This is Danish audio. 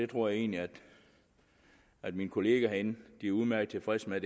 tror egentlig at mine kollegaer herinde er udmærket tilfredse med